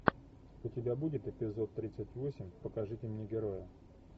у тебя будет эпизод тридцать восемь покажите мне героя